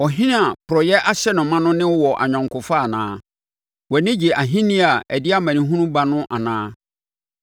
Ɔhene a porɔeɛ ahyɛ no ma no ne wo wɔ ayɔnkofa anaa? Wʼani gye ahennie a ɛde amanehunu ba ho anaa?